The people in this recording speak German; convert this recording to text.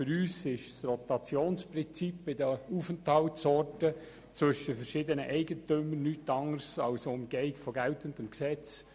Für uns ist das Rotationsprinzip bei den Aufenthaltsorten zwischen den verschiedenen Eigentümern nichts anderes als eine Umgehung von geltendem Gesetz.